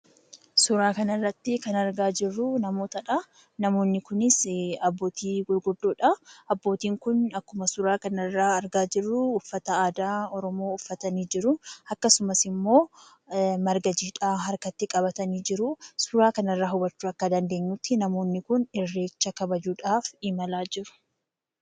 Suuraa kana irratti kan argaa jirruu, namootadha. Namoonni kunis abbootii gurguddoodha. Abbootiin Kun akkuma suuraa kana irraa argaa jirruu uffata aadaa oromoo uffatanii jiruu akkasumas immoo marga jiidhaa harkatti qabatanii jiruu. Suuraa kana irraa hubachuu akka dandeenyutti namoonni Kun irreecha kabajuudhaaf imalaa jiru.